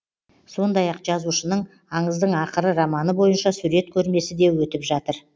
сондай ақ жазушының аңыздың ақыры романы бойынша сурет көрмесі де өтіп жатыр